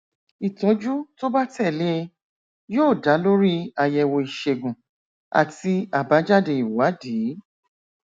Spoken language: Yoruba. ìtọjú tó bá tẹ lé e yóò dá lórí àyẹwò ìṣègùn àti àbájáde ìwádìí